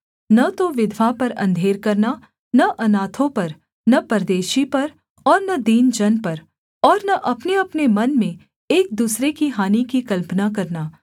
न तो विधवा पर अंधेर करना न अनाथों पर न परदेशी पर और न दीन जन पर और न अपनेअपने मन में एक दूसरे की हानि की कल्पना करना